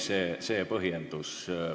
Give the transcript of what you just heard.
See on põhjendus.